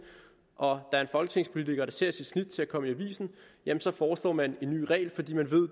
og der er en folketingspolitiker der ser sit snit til at komme i aviserne foreslår man en ny regel fordi man ved